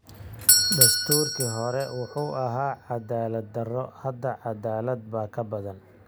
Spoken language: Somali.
Dastuurkii hore wuxuu ahaa cadaalad darro. Hadda cadaalad baa ka badan.